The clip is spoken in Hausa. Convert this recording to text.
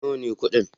Nawa ne kuɗin?